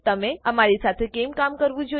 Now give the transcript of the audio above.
તમે અમી સાથે કેમ કામ કરવું જોઈએ